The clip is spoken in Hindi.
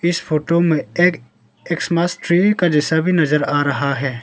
इस फोटो में एक एक्समस ट्री का जैसा भी नजर आ रहा है।